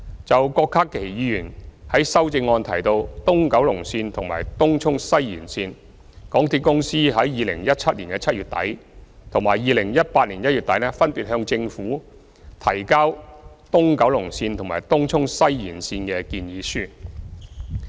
就郭家麒議員在修正案提到東九龍線和東涌西延線，港鐵公司於2017年7月底和2018年1月底分別向政府提交東九龍線和東涌西延線的建議書。